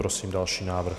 Prosím další návrh.